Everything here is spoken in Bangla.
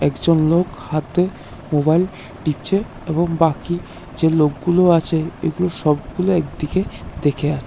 একজন লোক হাতে মোবাইল টিপছে এবং বাকি যে লোকগুলো আছে এগুলো সবগুলো একদিকে দেখে আ--